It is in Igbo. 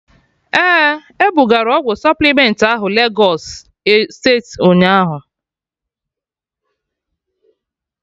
Ee, ebugara ọgwụ supplement ahụ Legọs steeti ụnyaahụ